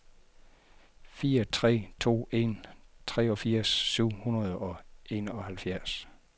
fire tre to en treogfirs syv hundrede og enoghalvfjerds